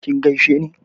kin gaisheni?